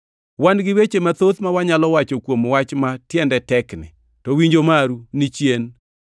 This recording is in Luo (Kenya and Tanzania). Wan gi weche mathoth ma wanyalo wacho kuom wach ma tiende tekni, to winjo maru ni chien.